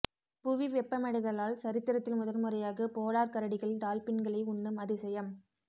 புவி வெப்பமடைதலால் சரித்திரத்தில் முதன்முறையாக போலார் கரடிகள் டால்பின்களை உண்ணும் அதிசயம்